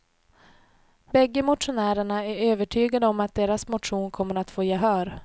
Bägge motionärerna är övertygade om att deras motion kommer att få gehör.